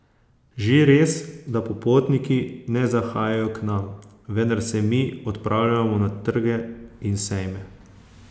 Že res, da popotniki ne zahajajo k nam, vendar se mi odpravljamo na trge in sejme.